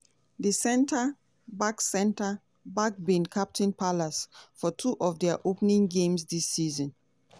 di centre-back centre-back bin captain palace for two of dia opening games dis season.